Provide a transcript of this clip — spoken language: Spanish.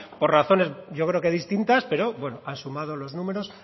por razones yo creo que distintas pero bueno han sumado los números